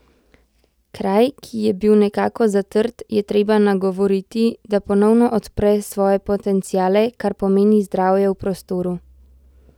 Kraj, ki je bil nekako zatrt, je treba nagovoriti, da ponovno odpre svoje potenciale, kar pomeni zdravje v prostoru.